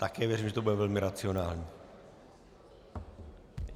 Také věřím, že to bude velmi racionální.